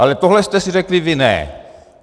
Ale tohle jste si řekli vy ne.